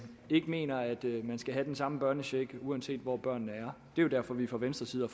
ikke mener at man skal have den samme børnecheck uanset hvor børnene er det er derfor vi fra venstres side